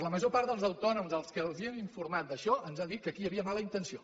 la major part dels autònoms als quals hem informat d’això ens han dit que aquí hi havia mala intenció